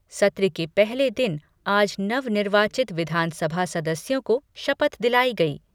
सत्र के पहले दिन आज नवनिर्वाचित विधानसभा सदस्यों को शपथ दिलायी गयी।